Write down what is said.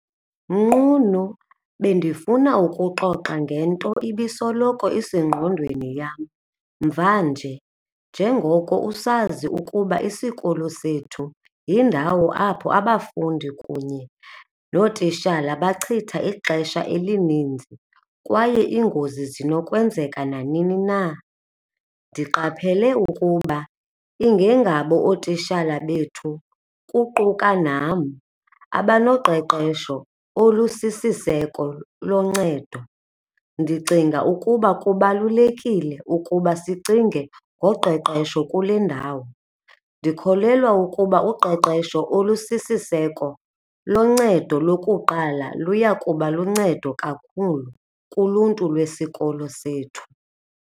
Nqunu, bendifuna ukuxoxa ngento ibisoloko isengondweni yam mvanje njengoko usazi ukuba isikolo sethu yindawo apho abafundi kunye nootishala bachitha ixesha elininzi kwaye iingozi zinokwenzeka nanini na. Ndiqaphele ukuba ingengabo ootishala bethu kuquka nam abanoqeqesho olusisiseko loncedo. Ndicinga ukuba kubalulekile ukuba sicinge ngoqeqesho kule ndawo. Ndikholelwa ukuba uqeqesho olusisiseko loncedo lokuqala luya kuba luncedo kakhulu kuluntu lwesikolo sethu.